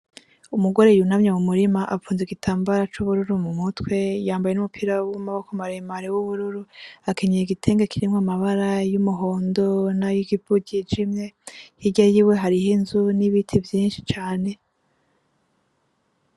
Umugore yunamye mu murima apfunze igitambara c'ubururu mu mutwe, yambaye n'umupira w'amaboko maremare w'ubururu, akenyeye igitenge kirimwo amabara y'umuhondo n'ayikivu, hirya yiwe hariyo inzu n'ibiti vyinshi cane.